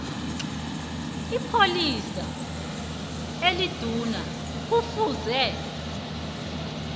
ipholisa eliduna kufuze